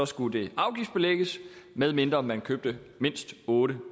skulle det afgiftsbelægges medmindre man købte mindst otte